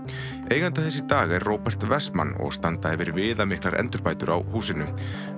eigandi þess í dag er Róbert og standa yfir viðamiklar endurbætur á húsinu